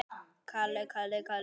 sagði afi.